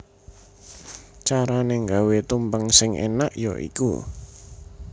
Carané gawé tumpeng sing énak ya iku